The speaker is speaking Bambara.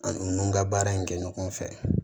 An n'u n'u ka baara in kɛ ɲɔgɔn fɛ